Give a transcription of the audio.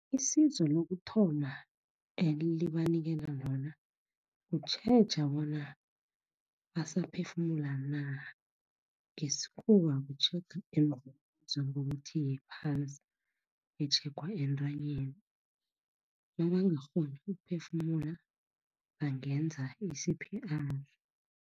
Isizo lokuthoma enibanikela lona kutjheja bona basaphefumula na. Ngesikhuwa ku-check into ebizwa ngokuthi yi-pulse, etjhegwa entanyeni. Nabangakghoni ukuphefumula, bangenza i-C_P_R.